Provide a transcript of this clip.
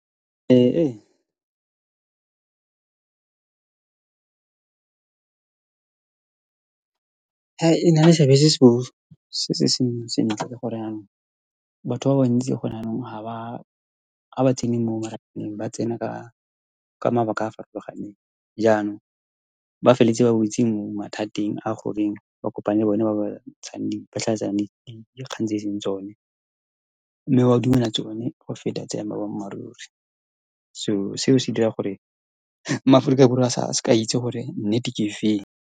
E na le seabe se se seng sentle ka gore jaanong batho ba bantsi, gone jaanong, ha ba tsene mo ba tsena ka mabaka a a farologaneng. Jaanong ba feleleditse ba wetse mo mathateng a goreng ba kopane le bone ba ba ntshang di, ba phatlhalatsang dikgang tse e seng tsone, mme ba dumela tsone go feta tsa boammaaruri, so seo se dira gore maAforika Borwa a sa, a seke a itse gore nnete ke efeng.